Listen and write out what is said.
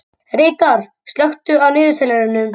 Reidar, slökktu á niðurteljaranum.